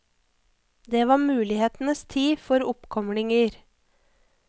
Det var mulighetenes tid for oppkomlinger.